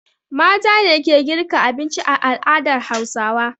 Mata ne ke girka abinci a al'adar Hausawa.